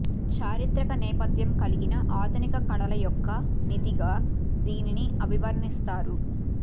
చారిత్రక నేపధ్యం కలిగిన ఆధునిక కళల యొక్క నిధిగా దీనిని అభివర్ణిస్తారు